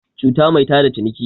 cuta mai tada ciniki